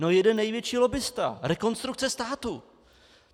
No jeden největší lobbista - Rekonstrukce státu!